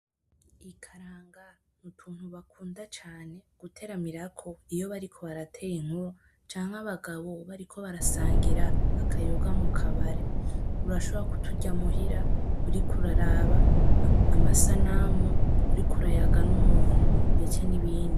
Ikaranga n'utuntu bakunda cane guteramirako; iyo bariko baratera inkuru canke abagabo bariko barasangira akayoga mukabare. Urashobora kuturya muhira uriko uraraba, amasanamu , uriko urayaga n'umuntu, ndetse n'ibindi.